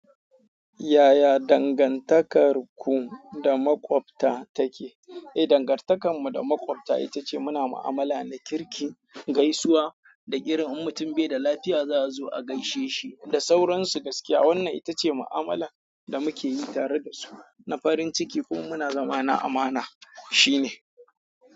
Yaya dangantakarku da makwabta take? Eh, dangantakarmu da makwabta ita ce muna ma'amala na kirki, gaisuwa da irin in mutum bai da lafiya za'a zo a gaishe shi da sauransu gaskiya. Wannan ita ce ma'amala da muke yi tare da su na farin ciki kuma muna zama na amana shine.